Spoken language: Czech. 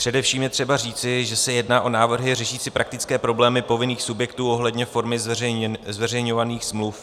Především je třeba říci, že se jedná o návrhy řešící praktické problémy povinných subjektů ohledně formy zveřejňovaných smluv.